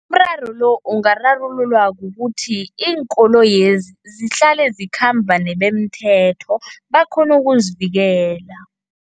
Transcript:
Umraro lo ungararululwa kukuthi iinkoloyezi zihlale zikhamba nebemithetho, bakghone ukuzivikela.